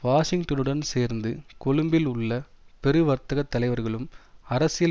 வாஷிங்டனுடன் சேர்ந்து கொழும்பில் உள்ள பெரு வர்த்தக தலைவர்களும் அரசியல்